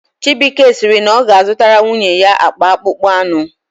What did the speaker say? Chibuike sịrị na ọ ga-azụtara nwunye ya akpa akpụkpọ anụ